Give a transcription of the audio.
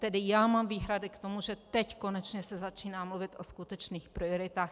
Tedy já mám výhrady k tomu, že teď konečně se začíná mluvit o skutečných prioritách.